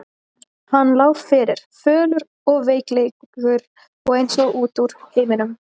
Hann lá fyrir, fölur og veiklulegur og eins og út úr heiminum.